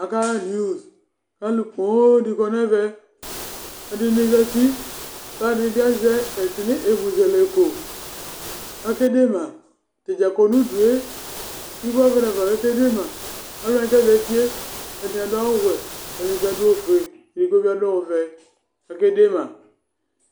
Akama edini, kʋ alu poo di kɔ nʋ ɛvɛ Ɛdɩnɩ zǝti, kʋ alu ɛdɩnɩ bɩ azɛ ɛmʋzɛlɛko kʋ akede ma Atadza kɔnʋ udu yɛ, bɩ kʋ ata nafa akedema Aluwani kʋ azǝti yɛ, ɛdɩnɩ adu awuwɛ, ɛdɩnɩ bɩ adu awuwɛ, ɛdigbo bɩ adu ɔvɛ kʋ akede ma